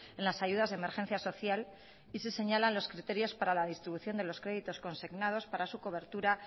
en las ayudas de emergencia social y se señalan los criterios para la distribución de los créditos consignados para su cobertura